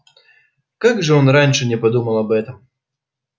как же он раньше не подумал об этом